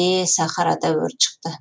ее сахарада өрт шықты